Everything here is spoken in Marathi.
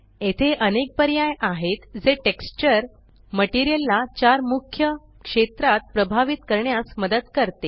येथे अनेक पर्याय आहेत जे टेक्सचर मटेरियल ला चार मुख्य क्षेत्रात प्रभावित करण्यास मदत करते